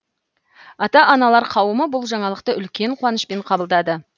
ата аналар қауымы бұл жаңалықты үлкен қуанышпен қабылдады